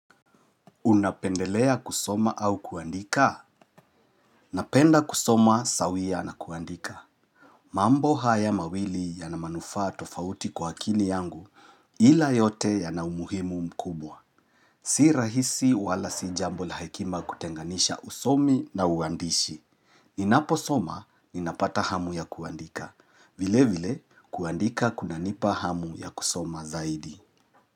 Unapendelea kusoma au kuandika? Napenda kusoma sawia na kuandika. Mambo haya mawili yanamanufaa tofauti kwa akili yangu ila yote yanaumuhimu mkubwa. Si rahisi wala sijambo la hekima kutenganisha usomi na uandishi. Ninapo soma, ninapata hamu ya kuandika. Vile vile, kuandika kuna nipa hamu ya kusoma zaidi.